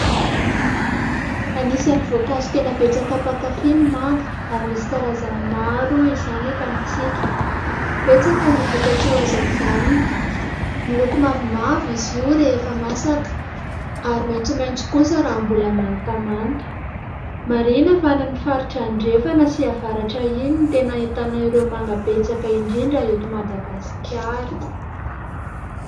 Anisan'ny voankazo tena betsaka mpankafy ny manga ary misy karazany maro izany eto amintsika, betsaka ny vokatsoa azo avy aminy, miloko mavomavo izy io rehefa masaka ary maitsomaitso kosa raha mbola mantamanta. Marihina fa any amin'ny faritra andrefana sy avaratra iny no tena ahitana ireo manga betsaka indrindra eto Madagasikara.